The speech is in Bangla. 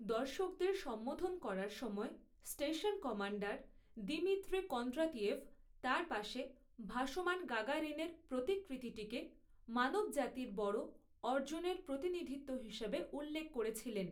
দর্শকদের সম্বোধন করার সময়, স্টেশন কমান্ডার দিমিত্রি কন্ড্রাতিয়েভ তার পাশে ভাসমান গাগারিনের প্রতিকৃতিটিকে 'মানবজাতির বড়' অর্জনের প্রতিনিধিত্ব হিসাবে উল্লেখ করেছিলেন।